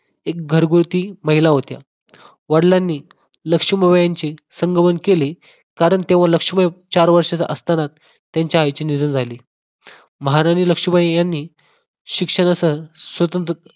एक घरगुती महिला होती वडिलांनी लक्ष्मीबाई यांची संगोपन केले कारण तेव्हा लक्ष्मीबाई चार वर्षाच्या असतानाच त्यांच्या आईचे निधन झाले महाराणी लक्ष्मीबाई यांनी शिक्षणासह स्वतंत्र